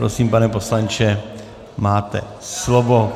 Prosím, pane poslanče, máte slovo.